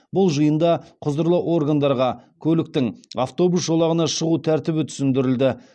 бұл жиында құзырлы органдарға көліктің автобус жолағына шығу тәртібі түсіндірілді